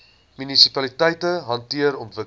munisipaliteite hanteer ontwikkeling